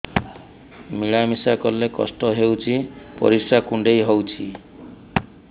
ମିଳା ମିଶା କଲେ କଷ୍ଟ ହେଉଚି ପରିସ୍ରା କୁଣ୍ଡେଇ ହଉଚି